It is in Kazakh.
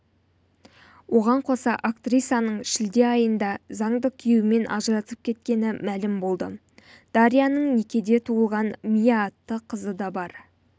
оған қоса актрисаның шілде айында заңды күйеуімен ажырасып кеткені мәлім болды дарьяның некеде туылған мия атты қызы да бар